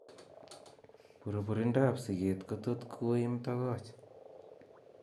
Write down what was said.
Burburindab sikeet kotot kuiim togoch